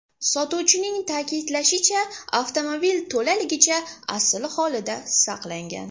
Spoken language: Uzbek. Sotuvchining ta’kidlashicha, avtomobil to‘laligicha asl holida saqlangan.